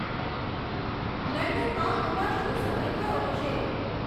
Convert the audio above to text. લંડનમાં હમણાં શું સમય થયો હશે